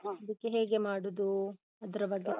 ಹ ಅದಕ್ಕೆ ಹೇಗೆ ಮಾಡುದೂ? ಅದ್ರ ಬಗ್ಗೆ.